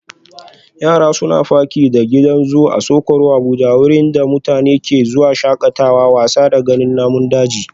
Yara suna faki da gidan zoo Asokoro Abuja wurin da mutane ke zuwa shakatawa, wasa da ganin namun daji